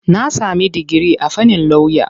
Na sami digiri a fannin lauya.